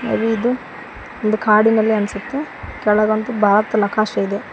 ಅದು ಇದು ಒಂದು ಕಾಡಿನಲ್ಲಿ ಅನ್ಸುತ್ತೆ ಕೆಳಗ ಒಂದ್ ಭಾರತ್ ನಕಾಶೆ ಇದೆ.